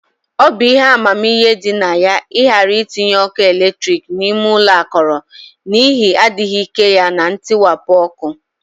Ọ bụ ihe amamihe dị na ya ịghara itinye ọkụ eletrik n'ime ụlọ akọrọ, n'ihi adịghị ike ya na ntiwapụ ọkụ